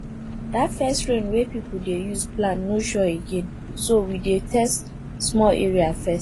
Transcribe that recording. that first rain wey people dey use plant no sure again so we dey test small area first